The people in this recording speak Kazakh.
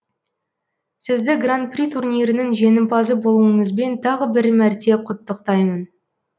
сізді гран при турнирінің жеңімпазы болуыңызбен тағы бір мәрте құттықтаймын